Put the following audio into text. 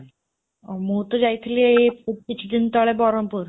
ମୁଁ ତ ଯାଇଥିଲି ଏଇ କିଛିଦିନ ତଳେ ବ୍ରହ୍ମପୁର